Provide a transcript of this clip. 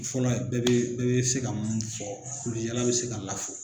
Fɔlɔ bɛɛ be bɛɛ be se ka mun fɔ kulusijala bɛ se ka lafo